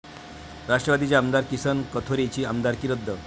राष्ट्रवादीचे आमदार किसन कथोरेंची आमदारकी रद्द